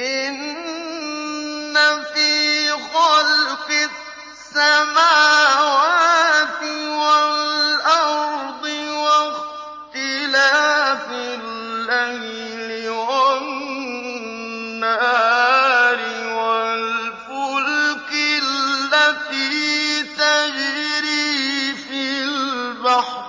إِنَّ فِي خَلْقِ السَّمَاوَاتِ وَالْأَرْضِ وَاخْتِلَافِ اللَّيْلِ وَالنَّهَارِ وَالْفُلْكِ الَّتِي تَجْرِي فِي الْبَحْرِ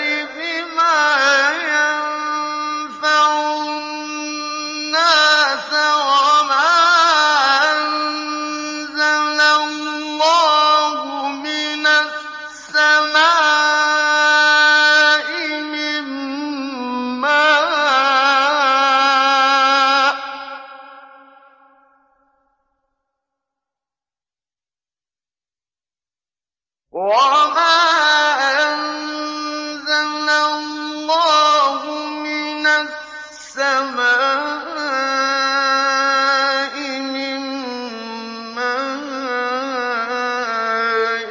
بِمَا يَنفَعُ النَّاسَ وَمَا أَنزَلَ اللَّهُ مِنَ السَّمَاءِ مِن مَّاءٍ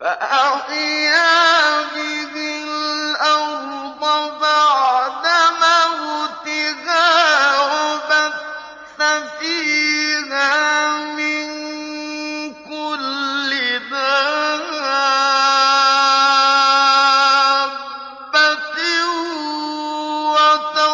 فَأَحْيَا بِهِ الْأَرْضَ بَعْدَ مَوْتِهَا وَبَثَّ فِيهَا مِن كُلِّ دَابَّةٍ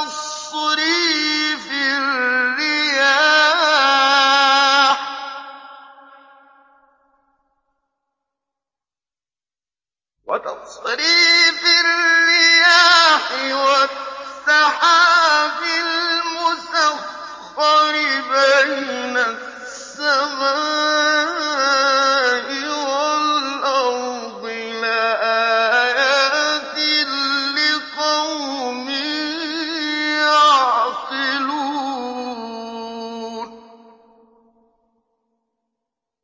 وَتَصْرِيفِ الرِّيَاحِ وَالسَّحَابِ الْمُسَخَّرِ بَيْنَ السَّمَاءِ وَالْأَرْضِ لَآيَاتٍ لِّقَوْمٍ يَعْقِلُونَ